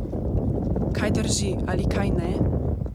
Kaj drži ali kaj ne?